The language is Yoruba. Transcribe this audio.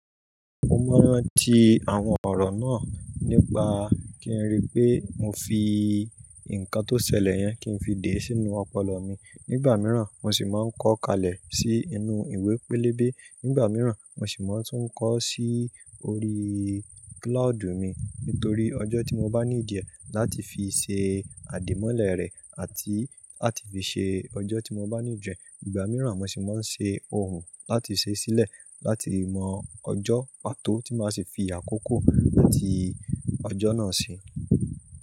Mo máa ń rántí àwon ọ̀rọ̀ náà nípa kí n rí pé mo fi nkán tó ṣẹlẹ yẹn kí n fi dè sínú ọpọlọ mi. Nígbà mìíràn, mo sì máa ń kọ ọ́ kalẹ̀ sí inú ìwé pélébé. Nígbà mìíràn, mo sì máa ń tún kọ sí orí cloud mi nítorí ọjọ́ tí mo bá ní ìdíẹ̀ láti fi ṣe àdìmọ́lẹ̀ rẹ̀ àti láti fi ṣe ọjọ́ tí mo bá ní ìdíẹ̀. Ìgbà mìíràn, mo sì máa ń ṣe ohùn láti ṣe sílẹ̀ láti mọ ọjọ́ pàtó tí màá sì fi àkókò àti ọjọ́ náà sí.